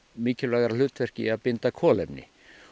mikilvægara hlutverki í að binda kolefni